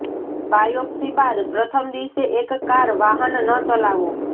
biopsy બાદ પ્રથમ દિવસે એક કાર વાહન ન ચલાવો